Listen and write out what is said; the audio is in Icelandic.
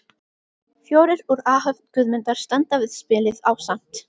Fjórir úr áhöfn Guðmundar standa við spilið ásamt